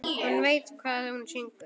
Hún veit hvað hún syngur.